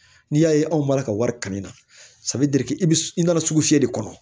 N'i y'a ye anw b'a la ka wari kanni na i bɛ i nana sugu fiyɛ de kɔnɔ